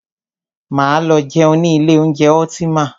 Máa lọ jẹun ní ilé oúnjẹ Ultima.